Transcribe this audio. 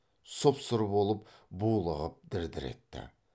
сұп сұр болып булығып дір дір етті